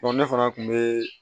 ne fana kun be